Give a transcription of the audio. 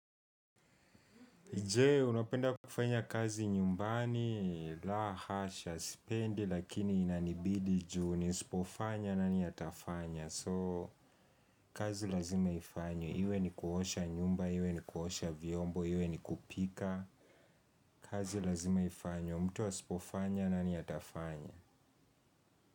Je, unapenda kufanya kazi nyumbani, la hasha, sipendi, lakini inanibidi juu, nisipofanya nani atafanya. So, kazi lazima ifanywe ni kuosha nyumba, iwe ni kuosha vyombo, iwe ni kupika. Kazi lazima ifanywe, mtu asipofanya nani atafanya.